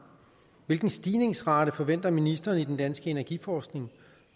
hvilken stigningsrate forventer ministeren i den danske energiforskning